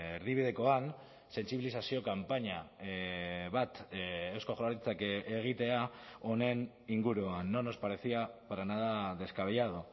erdibidekoan sentsibilizazio kanpaina bat eusko jaurlaritzak egitea honen inguruan no nos parecía para nada descabellado